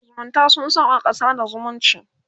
shafin zumunta sun sauƙaƙa sada zumunci